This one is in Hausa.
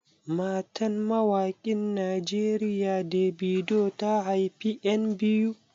Matan mawaƙin Najeriya Davido, ta haifi 'yan biyu.